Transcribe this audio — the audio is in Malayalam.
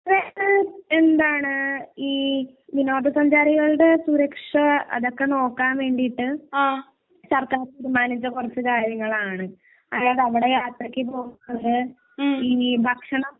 എന്താണ് ഈ വിനോദ സഞ്ചാരികളുടെ സുരക്ഷ അതൊക്കെ നോക്കാൻ വേണ്ടിയിട്ട് സര്‍ക്കാര്‍ തീരുമാനിച്ച കുറച്ച് കാര്യങ്ങളാണ്. അതായത് അവിടെ യാത്രയ്ക്ക് പോകുന്നത് ഇനി ഭക്ഷണം